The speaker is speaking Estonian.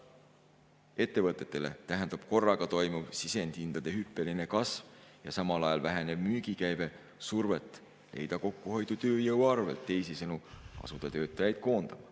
Ettevõtetele tähendab korraga toimuv sisendihindade hüppeline kasv ja samal ajal vähenev müügikäive survet leida kokkuhoidu tööjõu arvelt, teisisõnu, tuleks asuda töötajaid koondama.